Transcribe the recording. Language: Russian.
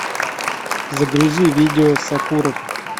загрузи видео сокуров